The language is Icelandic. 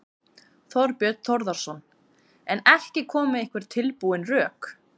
Þorbjörn Þórðarson: En ekki koma með einhver tilbúin rök?